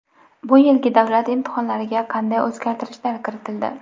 Bu yilgi davlat imtihonlariga qanday o‘zgartirishlar kiritildi?.